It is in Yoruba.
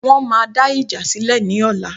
Wọ́n máa dá ìjà sílè ní ọ̀la